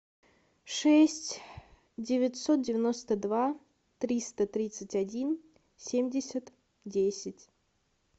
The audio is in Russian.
шесть девятьсот девяносто два триста тридцать один семьдесят десять